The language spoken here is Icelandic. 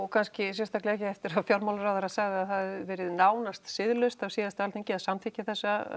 kannski sérstaklega ekki eftir að fjármálaráðherra sagði að það hafi verið nánast siðlaust af síðasta Alþingi að samþykkja þessa